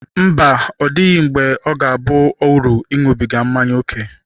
Mba, ọ dịghị mgbe ọ ga-aba uru ịṅụbiga mmanya ókè.